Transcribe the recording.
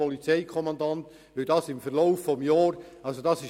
Damit Sie es etwas einordnen können: